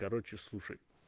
короче слушай